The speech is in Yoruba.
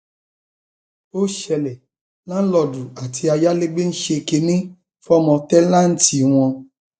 ó ṣẹlẹ láńlọọdù àti ayálégbé ń ṣe kínní fọmọ tẹńtẹǹtì wọn